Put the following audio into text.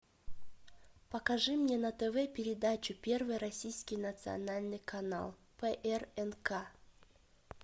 покажи мне на тв передачу первый российский национальный канал прнк